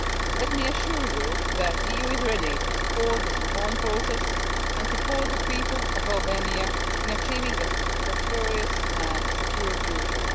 Let me assure you that the EU is ready to support this reform process and support the people of Albania in achieving a prosperous and secure future.